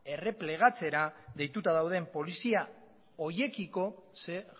erreplegatzera deituta dauden polizia horiekiko zein